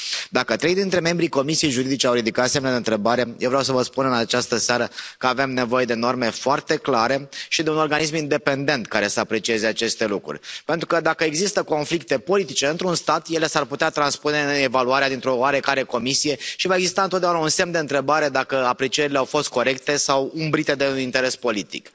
Dacă trei dintre membrii Comisiei juridice au ridicat semne de întrebare, eu vreau să vă spun în această seară că avem nevoie de norme foarte clare și de un organism independent care să aprecieze aceste lucruri, pentru că dacă există conflicte politice într un stat, ele s ar putea transpune în evaluarea dintr o oarecare comisie și va exista întotdeauna un semn de întrebare dacă aprecierile au fost corecte sau umbrite de un interes politic.